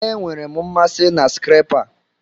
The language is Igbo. Enwere m mmasị na skrepa a.